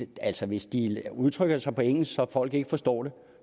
altså hvis de udtrykker sig på engelsk så folk ikke forstår det